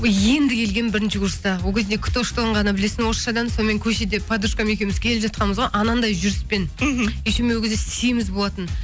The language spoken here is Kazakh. енді келгенмін бірінші курста ол кезде кто что ғана білесің орысшадан сонымен көшеден подружкам екеуіміз келе жатқанбыз ғой анандай жүріспен мхм еще мен ол кезде семіз болатынмын